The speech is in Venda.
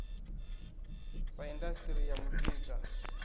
na indas ri ya muzika